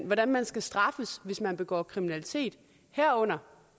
hvordan man skal straffes hvis man begår kriminalitet herunder